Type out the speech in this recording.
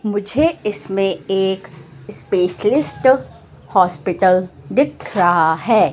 मुझे इसमें एक स्पेशलिस्ट हॉस्पिटल दिख रहा है।